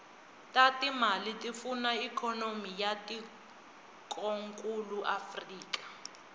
tatimale tifuna ikonomy yatikonkulu afrika